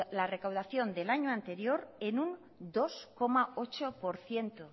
la recaudación del año anterior en un dos coma ocho por ciento